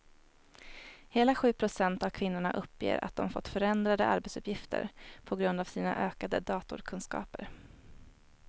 Hela sju procent av kvinnorna uppger att de fått förändrade arbetsuppgifter på grund av sina ökade datorkunskaper.